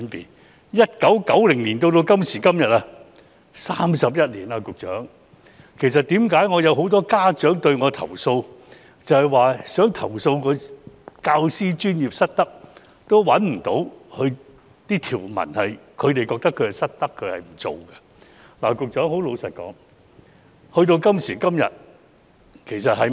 局長 ，1990 年至今，已經過了31年，為甚麼有那麼多家長向我投訴，他們想投訴教師專業失德，也未能找到相應的條文，指出教師失德和他們沒有做到的？